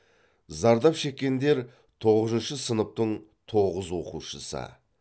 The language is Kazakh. зардап шеккендер тоғызыншы сыныптың тоғыз оқушысы